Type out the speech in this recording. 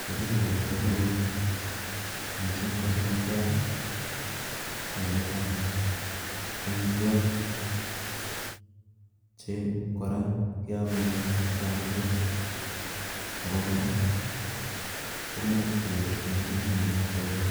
Kerenyun akobo koroi missing ko samakiat ko netai omitwokik che Koraa keome en atkan tukul ako Koraa komuche kenyorchine kelenjin ne noton Kobo